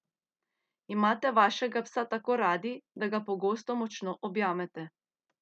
Imate vašega psa tako radi, da ga pogosto močno objamete?